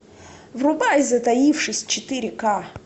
врубай затаившись четыре ка